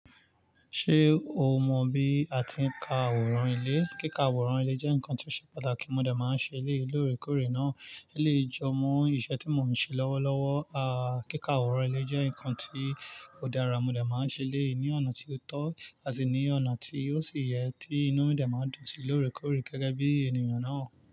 Ṣé o mọ bí a ti ń ka àwòrán ilé? Kíka àwòrán ilé jẹ́ nǹkan tí ó ṣe pàtàkì, mo de máa ń ṣe ilé lóòrèkóòrè náà. Eleyi jọ mọ iṣẹ́ tí mo ń ṣe lọ́wọ́lọ́wọ́. Aà, kíka àwòrán ilé jẹ́ nǹkan tí ó dára, mo de máa ń ṣe eleyi ní ọ̀nà tí ó tọ́ àti ní ọ̀nà tí ó sì yẹ tí inú mi de máa ń dùn sí lóòrèkóòrè gẹ́gẹ́ bí ènìyàn náà.